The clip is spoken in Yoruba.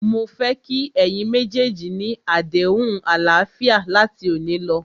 Mó fẹ́ kí ẹ̀yin méjèèjì ni àdéhùn àlàáfíà láti òní lọ.!